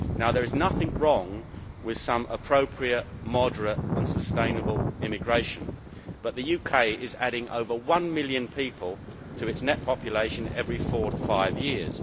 There is nothing wrong with some appropriate, moderate and sustainable immigration, but the UK is adding over one million people to its net population every four to five years.